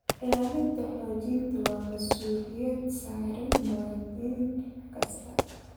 Ilaalinta xogta waa masuuliyad saaran muwaadin kasta.